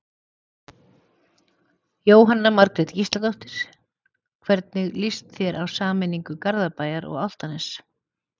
Jóhanna Margrét Gísladóttir: Hvernig lýst þér á sameiningu Garðabæjar og Álftanes?